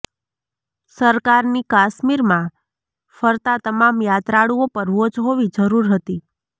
સરકારની કાશ્મીરમાં ફરતા તમામ યાત્રાળુઓ પર વોચ હોવી જરૂર હતી